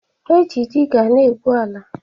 E ji diga e gbu ala